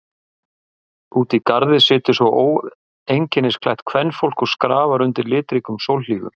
Úti í garði situr svo óeinkennisklætt kvenfólk og skrafar undir litríkum sólhlífum.